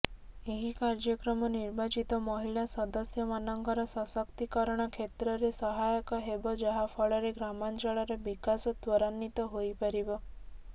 ଏହି କାର୍ଯ୍ୟକ୍ରମ ନିର୍ବାଚିତ ମହିଳା ସଦସ୍ୟମାନଙ୍କର ସଶକ୍ତିକରଣ କ୍ଷେତ୍ରରେ ସହାୟକ ହେବ ଯାହାଫଳରେ ଗ୍ରାମାଂଚଳର ବିକାଶ ତ୍ୱରାନ୍ୱିତ ହୋଇପାରିବ